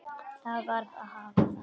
Það varð að hafa það.